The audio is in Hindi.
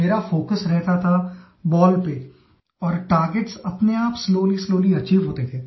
मेरा फोकस रहता था बॉल पे और टार्गेट्स अपने आप स्लोलीस्लोवली अचीव होते गए